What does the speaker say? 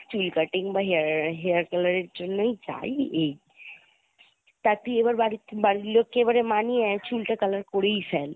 চুল cutting বা hair hair color এর জন্যই যাই এই। তা তুই এবার বাড়ি~বাড়ির লোক কে মানিয়ে চুলটা color করেই ফেল।